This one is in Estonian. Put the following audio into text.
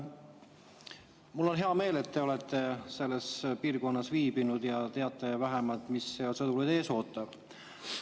Mul on hea meel, et te olete selles piirkonnas viibinud ja teate vähemalt, mis seal sõdureid ees ootab.